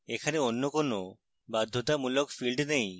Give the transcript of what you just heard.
এখানে অন্য কোনো বাধ্যতামূলক fields নেই